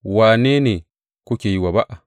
Wane ne kuke yi wa ba’a?